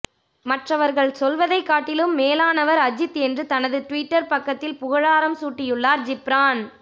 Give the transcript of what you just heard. மற்றவர்கள் சொல்வதைக் காட்டிலும் மேலானவர் அஜித் என்று தனது ட்விட்டர் பக்கத்தில் புகழாரம் சூட்டியுள்ளார் ஜிப்ரான்